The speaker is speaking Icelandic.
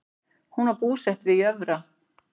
Hún var búsett að Jörfa